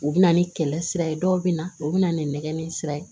U bɛ na ni kɛlɛ sira ye dɔw bɛ na u bɛ na ni nɛgɛ ni sira ye